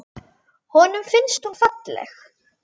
Honum finnst hún falleg.